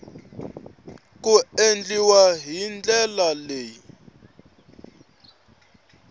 ku endliwa hi ndlela leyi